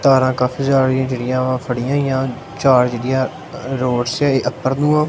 ਤਾਰਾਂ ਕਾਫੀ ਸਾਰੀਆਂ ਜਿਹੜੀਆਂ ਮੈਂ ਫੜੀਆਂ ਹੋਈਆਂ ਚਾਰ ਜਿਹੜੀਆਂ ਰੋਡ ਅੱਪਰ ਨੂੰ ਹਾਂ।